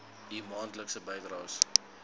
u maandelikse bydraes